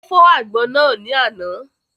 Ó fọ́ àgbọn náà ni àná